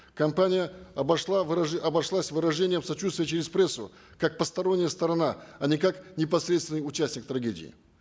компания обошла обошлась выражением сочуствия через прессу как постороння сторона а не как непосредственный участник трагедии